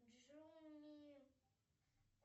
джуми